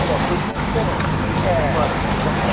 Era uma cozinha diferente né? , .os anos quarenta, não é?